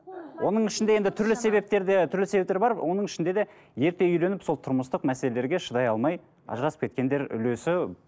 оның ішінде енді түрлі себептер де түрлі себептер бар оның ішінде де ерте үйленіп сол тұрмыстық мәселелерге шыдай алмай ажырасып кеткендер үлесі